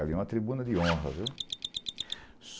Ali é uma tribuna de honra, viu?